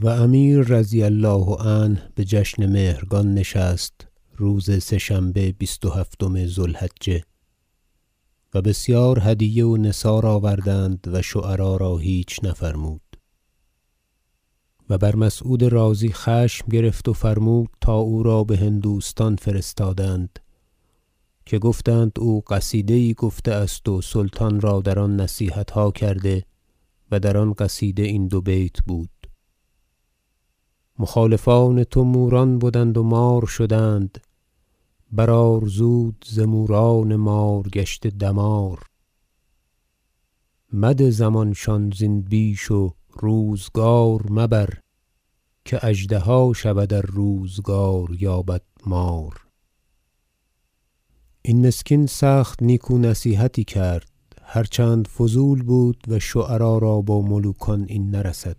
مراسم جشن مهرگان و امیر رضی الله عنه بجشن مهرگان نشست روز سه شنبه بیست و هفتم ذو الحجه و بسیار هدیه و نثار آوردند و شعرا را هیچ نفرمود و بر مسعود رازی خشم گرفت و فرمود تا او را بهندوستان فرستادند که گفتند که او قصیده یی گفته است و سلطان را در آن نصیحتها کرده و در آن قصیده این دو بیت بود مخالفان تو موران بدند و مار شدند بر آر زود ز موران مار گشته دمار مده زمانشان زین بیش و روزگار مبر که اژدها شود ار روزگار یابد مار این مسکین سخت نیکو نصیحتی کرد هر چند فضول بود و شعرا را با ملوکان این نرسد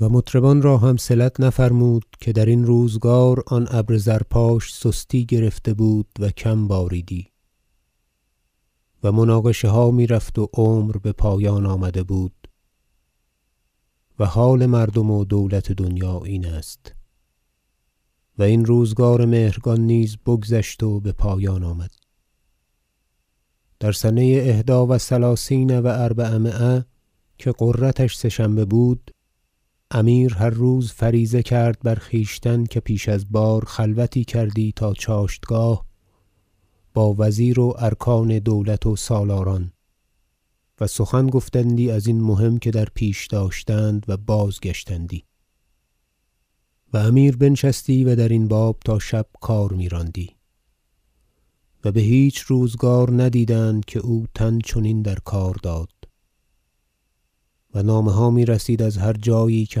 و مطربان را هم صلت نفرمود که درین روزگار آن ابر زرپاش سستی گرفته بود و کم باریدی و مناقشه ها میرفت و عمر بپایان آمده بود و حال مردم و دولت دنیا این است و این روزگار مهرگان نیز بگذشت و بپایان آمد در سنه احدی و ثلثین و اربعمایه که غرتش سه شنبه بود امیر هر روز فریضه کرد بر خویشتن که پیش از بار خلوتی کردی تا چاشتگاه با وزیر و ارکان دولت و سالاران و سخن گفتندی ازین مهم که در پیش داشتند و بازگشتندی و امیر بنشستی و در این باب تا شب کار میراندی و بهیچ روزگار ندیدند که او تن چنین در کار داد و نامه ها میرسید از هر جایی که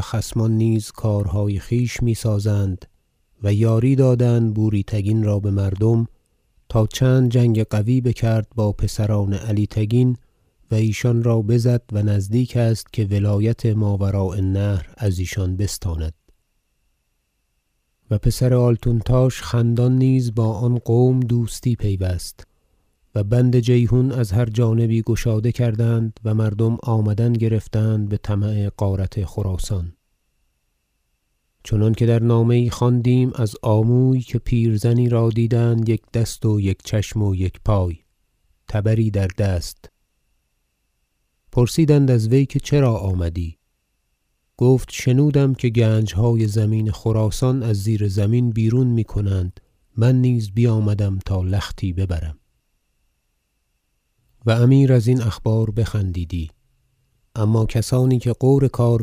خصمان نیز کارهای خویش میسازند و یاری دادند بوری تگین را بمردم تا چند جنگ قوی بکرد با پسران علی تگین و ایشان را بزد و نزدیک است که ولایت ماوراء النهر ازیشان بستاند و پسر آلتونتاش خندان نیز با آن قوم دوستی پیوست و بند جیحون از هر جانبی گشاده کردند و مردم آمدن گرفتند بطمع غارت خراسان چنانکه در نامه یی خواندیم از آموی که پیرزنی را دیدند یک دست و یک چشم و یک پای تبری در دست پرسیدند از وی که چرا آمدی گفت شنودم که گنجهای زمین خراسان از زیرزمین بیرون میکنند من نیز بیامدم تا لختی ببرم و امیر ازین اخبار بخندیدی اما کسانی که غور کار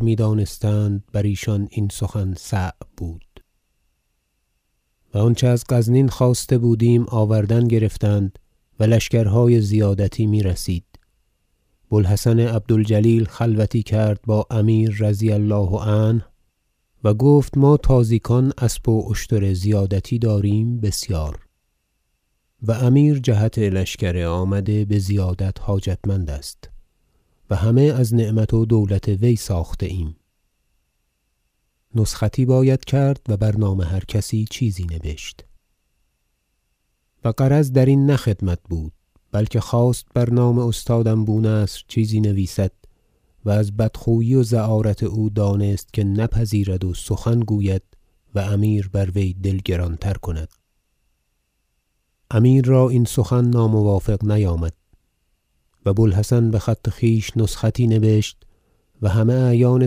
میدانستند برایشان این سخن صعب بود و آنچه از غزنین خواسته بودیم آوردن گرفتند و لشکرهای زیادتی میرسید بو الحسن عبد الجلیل خلوتی کرد با امیر رضی الله عنه و گفت ما تازیکان اسب و اشتر زیادتی داریم بسیار و امیر جهت لشکر آمده بزیادت حاجتمند است و همه از نعمت و دولت وی ساخته ایم نسختی باید کرد و بر نام هر کسی چیزی نبشت و غرض درین نه خدمت بود بلکه خواست بر نام استادم بو نصر چیزی نویسد و از بدخویی و زعارت او دانست که نپذیرد و سخن گوید و امیر بروی دل گران تر کند امیر را این سخن ناموافق نیامد و بو الحسن بخط خویش نسختی نبشت و همه اعیان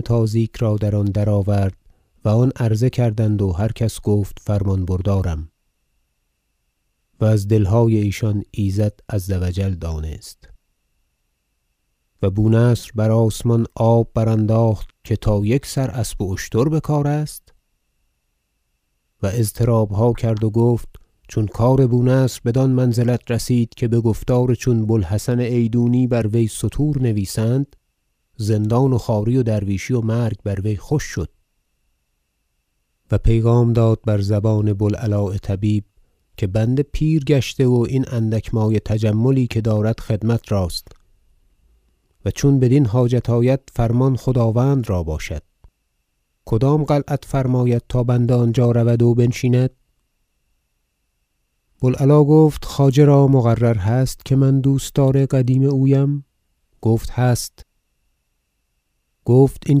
تازیک را در آن درآورد و آن عرضه کردند و هر کس گفت فرمان بردارم و از دلهای ایشان ایزد عز و جل دانست و بو نصر بر آسمان آب برانداخت که تا یک سر اسب و اشتر بکار است و اضطرابها کرد و گفت چون کار بو نصر بدان منزلت رسید که بگفتار چون بو الحسن ایدونی بر وی ستور نویسند زندان و خواری و درویشی و مرگ بر وی خوش شد و پیغام داد بزبان بو العلاء طبیب که بنده پیر گشته و این اندک مایه تجملی که دارد خدمت راست و چون بدین حاجت آید فرمان خداوند را باشد کدام قلعت فرماید تا بنده آنجا رود و بنشیند بو العلا گفت خواجه را مقرر هست که من دوستدار قدیم اویم گفت هست گفت این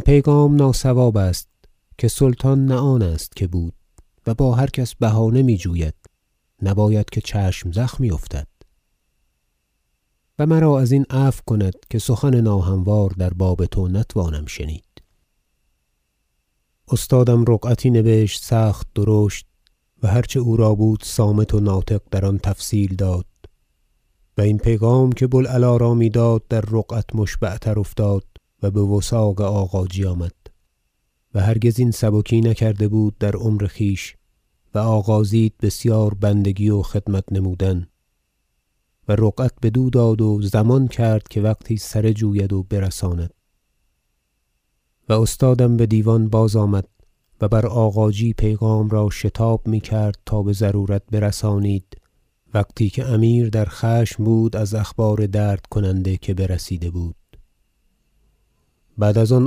پیغام ناصواب است که سلطان نه آن است که بود و با هر کس بهانه میجوید نباید که چشم زخمی افتد و مرا ازین عفو کند که سخن ناهموار در باب تو نتوانم شنید استادم رقعتی نبشت سخت درشت و هر چه او را بود صامت و ناطق در آن تفصیل داد و این پیغام که بو العلا را میداد در رقعت مشبع تر افتاد و بوثاق آغاجی آمد- و هرگز این سبکی نکرده بود در عمر خویش- و آغازید بسیار بندگی و خدمت نمودن و رقعت بدو داد و او ضمان کرد که وقتی سره جوید و برساند و استادم بدیوان باز آمد و بر آغاجی پیغام را شتاب میکرد تا بضرورت برسانید وقتی که امیر در خشم بود از اخبار درد کننده که برسیده بود بعد از آن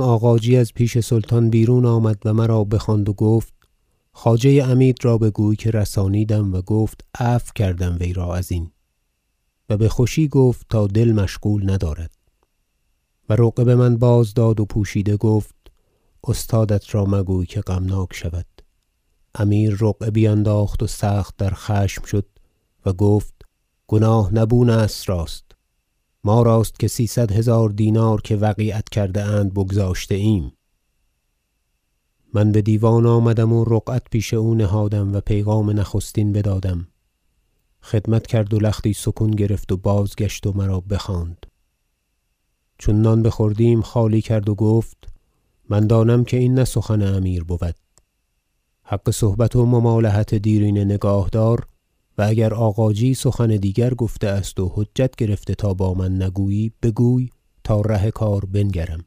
آغاجی از پیش سلطان بیرون آمد و مرا بخواند و گفت خواجه عمید را بگوی که رسانیدم و گفت عفو کردم وی را ازین و بخوشی گفت تا دل مشغول ندارد و رقعه بمن بازداد و پوشیده گفت استادت را مگوی که غمناک شود امیر رقعه بینداخت و سخت در خشم شد و گفت گناه نه بو نصر راست ما راست که سیصد هزار دینار که وقیعت کرده اند بگذاشته ایم من بدیوان آمدم و رقعت پیش او نهادم و پیغام نخستین بدادم خدمت کرد و لختی سکون گرفت و بازگشت و مرا بخواند چون نان بخوردیم خالی کرد و گفت من دانم که این نه سخن امیر بود حق صحبت و ممالحت دیرینه نگاه دار و اگر آغاجی سخن دیگر گفته است و حجت گرفته تا با من نگویی بگوی تاره کار بنگرم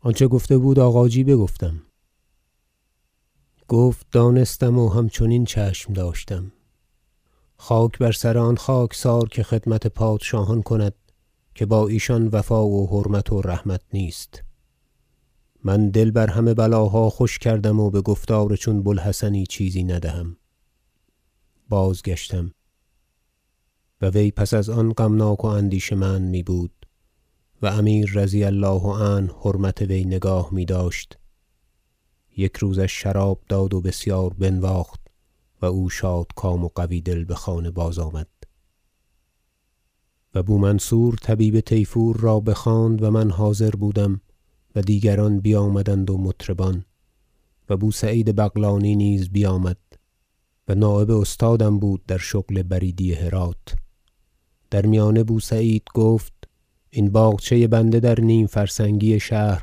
آنچه گفته بود آغاجی بگفتم گفت دانستم و همچنین چشم داشتم خاک بر سر آن خاکسار که خدمت پادشاهان کند که با ایشان وفا و حرمت و رحمت نیست من دل بر همه بلاها خوش کرده ام و بگفتار چون بو الحسنی چیزی ندهم بازگشتم و وی پس از آن غمناک و اندیشه مند میبود و امیر رضی الله عنه حرمت وی نگاه میداشت یک روزش شراب داد و بسیار بنواخت و او شادکام و قوی دل بخانه بازآمد و بو منصور طبیب طیفور را بخواند و من حاضر بودم و دیگران بیامدند و مطربان و بو سعید بغلانی نیز بیامد و نایب استادم بود در شغل بریدی هرات در میانه بو سعید گفت این باغچه بنده در نیم فرسنگی شهر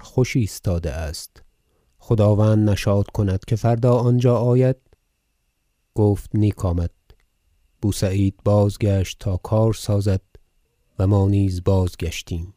خوش ایستاده است خداوند نشاط کند که فردا آنجا آید گفت نیک آمد بو سعید بازگشت تا کار سازد و ما نیز بازگشتیم